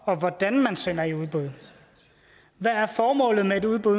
og hvordan man sender i udbud hvad formålet med et udbud